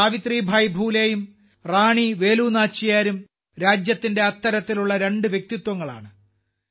സാവിത്രിഭായ് ഫുലെയും റാണി വേലു നാച്ചിയാരും രാജ്യത്തിന്റെ അത്തരത്തിലുള്ള രണ്ട് വ്യക്തിത്വങ്ങളാണ്